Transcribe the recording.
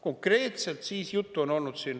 Konkreetselt siis juttu on olnud siin …